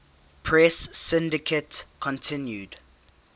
press syndicate continued